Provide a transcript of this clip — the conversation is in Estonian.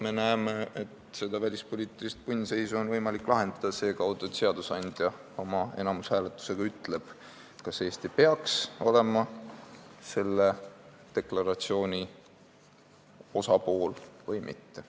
Me näeme, et seda välispoliitilist punnseisu on võimalik lahendada seekaudu, et seadusandja ütleb oma enamushääletusega, kas Eesti peaks olema selle deklaratsiooni osapool või mitte.